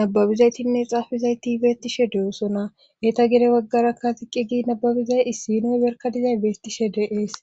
nababizaytinne xaafizayti beettishe de'oosona etta gide waggarakka ziqqi gi nababizay issinoy berka dizay beettishe de'ees